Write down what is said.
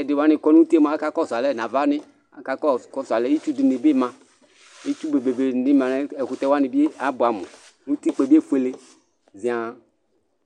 ɛdi wani kɔ nʋ uti mʋa aka kɔsʋ alɛ nʋ ava nii kʋ itsu dini bi ma istu be be be ni bi ma kʋ ɛkʋtɛ wani bi abʋɛamʋ kʋ utikpa yɛ bi efue ziaŋ